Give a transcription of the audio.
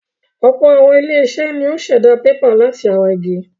Ọ̀pọ̀ àwọn ilé-iṣẹ́ ni ó ń ṣẹ̀dá pépà láti ara igi.